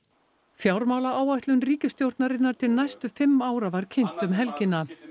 fjármálaáætlun ríkisstjórnarinnar til næstu fimm ára var kynnt um helgina